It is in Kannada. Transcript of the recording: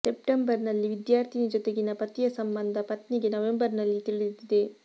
ಸೆಪ್ಟೆಂಬರ್ ನಲ್ಲಿ ವಿದ್ಯಾರ್ಥಿನಿ ಜೊತೆಗಿನ ಪತಿಯ ಸಂಬಂಧ ಪತ್ನಿಗೆ ನವೆಂಬರ್ ನಲ್ಲಿ ತಿಳಿದಿದೆ